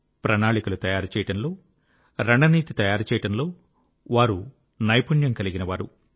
ప్రణాళికలు తయారుచేయడంలో రణనీతి తయారుచేయడంలో వారు నైపుణ్యం కలిగినవారు